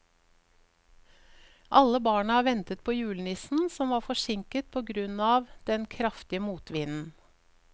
Alle barna ventet på julenissen, som var forsinket på grunn av den kraftige motvinden.